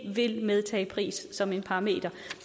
vil medtage pris som en parameter